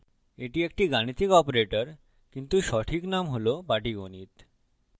এটি একটি গাণিতিক operator কিন্তু সঠিক name হল পাটীগণিত